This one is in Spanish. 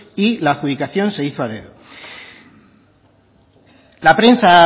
y la adjudicación se hizo a dedo la prensa